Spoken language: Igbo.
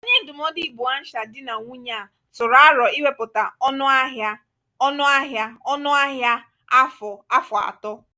onye ndụmọdụ iboancial di na nwunye a tụrụ aro iwepụta ọnụ ahịa ọnụ ahịa ọnụ ahịa afọ afọ atọ.